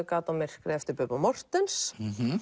gat á myrkrið eftir Bubba Morthens